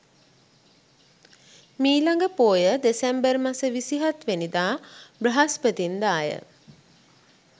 මීළඟ පෝය දෙසැම්බර් මස 27 වැනිදා බ්‍රහස්පතින්දා ය.